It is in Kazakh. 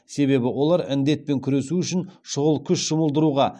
себебі олар індетпен күресу үшін шұғыл күш жұмылдыруға